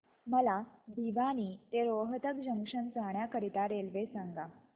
मला भिवानी ते रोहतक जंक्शन जाण्या करीता रेल्वे सांगा